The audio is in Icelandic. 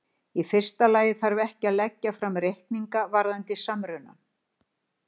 Í fyrsta lagi þarf ekki að leggja fram reikninga varðandi samrunann.